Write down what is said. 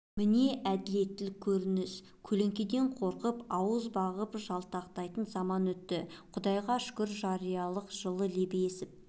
міне әділеттілік көрініс көлеңкеден қорқып ауыз бағып жалтақтайтын заман өтті құдайға шүкір жариялықтың жылы лебі есіп